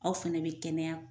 Aw fana bɛ kɛnɛya